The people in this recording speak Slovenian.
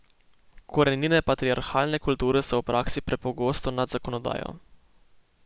Korenine patriarhalne kulture so v praksi prepogosto nad zakonodajo.